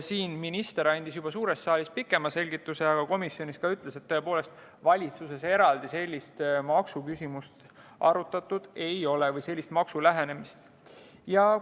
Siin suures saalis andis minister juba pikema selgituse, aga komisjonis ütles, et valitsuses tõepoolest eraldi sellist maksuküsimust või sellist lähenemist arutatud ei ole.